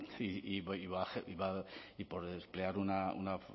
y por emplear una